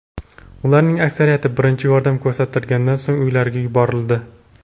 Ularning aksariyati birinchi yordam ko‘rsatilganidan so‘ng uylariga yuborildi.